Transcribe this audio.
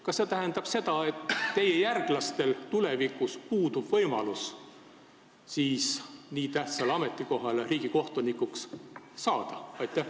Kas see tähendab seda, et teie järglastel riigisekretäri ametis puudub tulevikus võimalus riigikohtuniku tähtsale ametikohale saada?